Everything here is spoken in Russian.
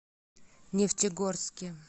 нефтегорске